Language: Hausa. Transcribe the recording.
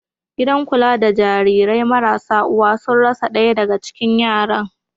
Gidan kula da Jarirai marasa uwa sun rasa ɗaya daga cikin yaran.